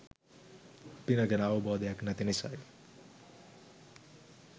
පින ගැන අවබෝධයක් නැති නිසයි.